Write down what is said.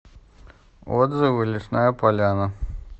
отзывы лесная поляна